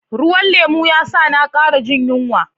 Ruwan lemu ya sa na kara jin yunwa.